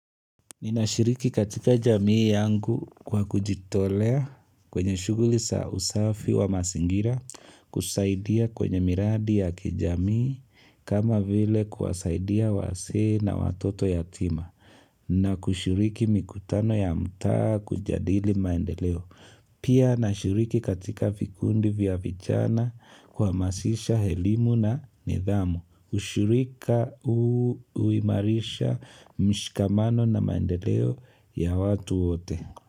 Ninashiriki katika jamii yangu kwa kujitolea kwenye shughuli za usafi wa mazingira kusaidia kwenye miradi ya kijamii kama vile kuwasaidia wazee na watoto yatima na kushiriki mikutano ya mtaa kujadili maendeleo. Pia nashiriki katika vikundi vya vijana kuhamasisha elimu na nidhamu, ushirika huu huimarisha mshikamano na maendeleo ya watu wote.